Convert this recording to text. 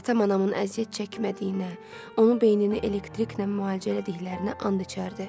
Atam anamın əziyyət çəkmədiyinə, onun beynini elektriklə müalicə elədiklərinə and içərdi.